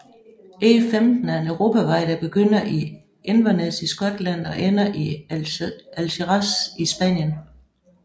E15 er en europavej der begynder i Inverness i Skotland og ender i Algeciras i Spanien